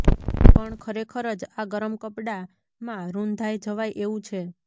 પણ ખરેખર જ આ ગરમ કપડાંમાં રૂંધાઇ જવાય એવું છે